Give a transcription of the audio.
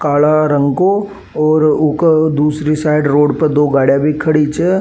काला रंग को और ऊके दूसरी साइड रोड पे दो गाड़ियां खड़ी छे।